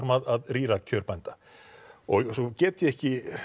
að rýra kjör bænda svo get ég ekki